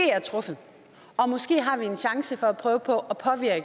er truffet og måske har vi en chance for at prøve på